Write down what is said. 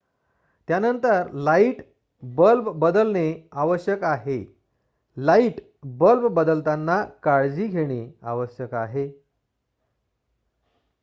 त्यानंतर light bulb बदलणे आवश्यक आहे लाइट बल्ब बदलताना काळजी घेणे आवश्यक आहे